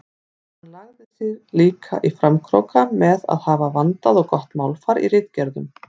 Hann lagði sig líka í framkróka með að hafa vandað og gott málfar í ritgerðunum.